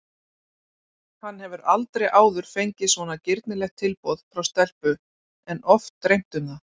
Hann hefur aldrei áður fengið svona girnilegt tilboð frá stelpu en oft dreymt um það.